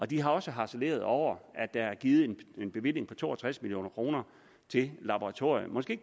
de har også harceleret over at der er givet en bevilling på to og tres million kroner til et laboratorium måske